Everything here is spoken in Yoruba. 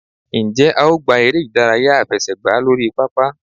njẹ a o gbá eré idàráyá afẹsẹgba lorí pápá?